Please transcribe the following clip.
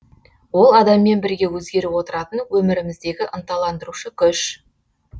ол адаммен бірге өзгеріп отыратын өміріміздегі ынталандырушы күш